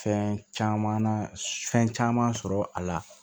Fɛn caman na fɛn caman sɔrɔ a la